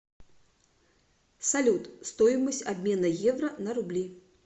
салют стоимость обмена евро на рубли